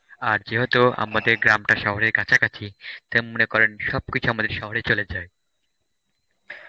আর যেহুতু আমাদের গ্রামটা শহরের কাছাকাছি তাই মনে করেন সবকিছু আমাদের শহরে চলে যায়.